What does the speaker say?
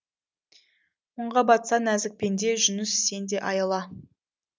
мұңға батса нәзік пенде жүніс сен де аяла